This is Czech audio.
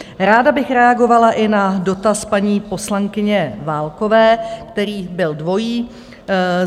Ráda bych reagovala i na dotaz paní poslankyně Válkové, který byl dvojí.